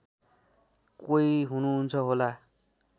कोही हुनुहुन्छ होला